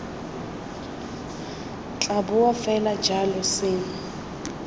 tla boa fela jalo seno